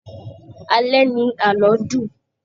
Alẹ́ ni àlọ́ dùn